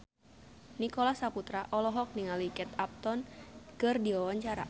Nicholas Saputra olohok ningali Kate Upton keur diwawancara